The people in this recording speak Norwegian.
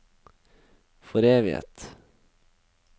foreviget